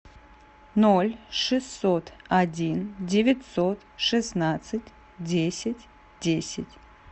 ноль шестьсот один девятьсот шестнадцать десять десять